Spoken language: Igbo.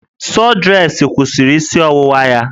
Sọdresị kwụsịrị isi ọwụwa ya